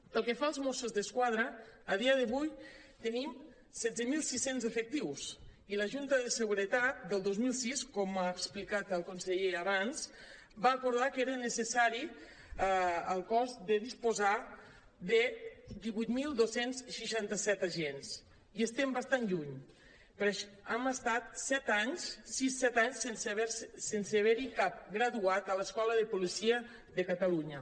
pel que fa als mossos d’esquadra a dia d’avui tenim setze mil sis cents efectius i la junta de seguretat del dos mil sis com ha explicat el conseller abans va acordar que era neces·sari al cos de disposar de divuit mil dos cents i seixanta set agents hi estem bastant lluny hem estat set anys sis set anys sense haver·hi cap graduat a l’escola de policia de catalunya